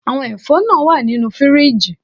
Àwọn ẹ̀fọ́ náà wà nínú fíríjì